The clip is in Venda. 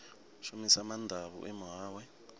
shumisa maanḓa a vhuimo hawe